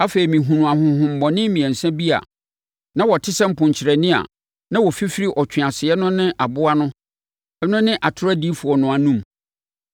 Afei, mehunuu ahonhommɔne mmiɛnsa bi a na wɔte sɛ mponkyerɛne a na wɔfifiri ɔtweaseɛ no ne aboa no ne atorɔ odiyifoɔ no anom.